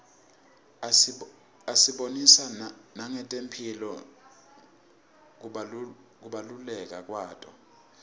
asibonisa nangetemphilo kubaluleka kwato